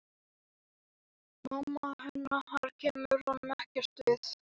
Mamma hennar kemur honum ekkert við.